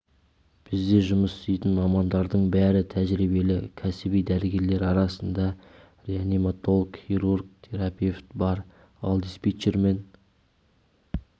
бізде жұмыс істейтін мамандардың бәрі тәжірибелі кәсіби дәрігерлер арасында реаниматолог хирург терапевт бар ал диспетчер мен